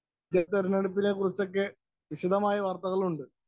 Speaker 1 തെരഞ്ഞെടുപ്പിനെക്കുറിച്ചൊക്കെ വിശദമായ വാര്‍ത്തകളും ഉണ്ട്.